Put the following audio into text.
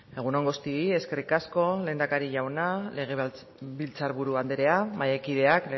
egun on guztioi eskerrik asko lehendakari jauna legebiltzarburu andrea mahaikideak